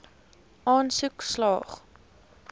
aansoek slaag